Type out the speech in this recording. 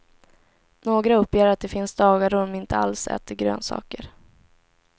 Några uppger att det finns dagar då de inte alls äter grönsaker.